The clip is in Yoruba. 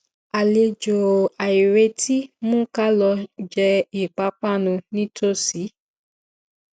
àlejò àìretí mú ká lọ jẹ ipápánu nítòsí